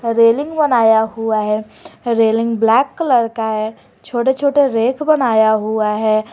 Railing बनाया हुआ है रेलिंग ब्लैक कलर का है छोटे छोटे रैक बनाया हुआ है।